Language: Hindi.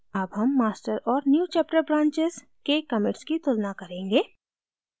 अब हम master और newchapter branches के commits की तुलना करेंगे